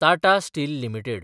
Tata steel limited